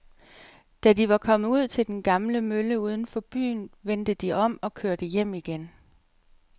Da de var kommet ud til den gamle mølle uden for byen, vendte de om og kørte hjem igen.